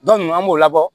an b'o labɔ